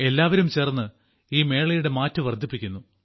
എല്ലാവരും ചേർന്ന് ഈ മേളയുടെ മാറ്റു വർദ്ധിപ്പിക്കുന്നു